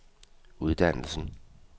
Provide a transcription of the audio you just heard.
uddannelsen